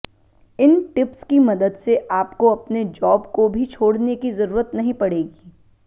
इन tips की मदद से आपको अपने जॉब को भी छोड़ने की जरूरत नहीं पड़ेगी